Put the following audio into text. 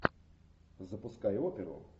запускай оперу